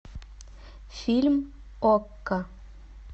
фильм окко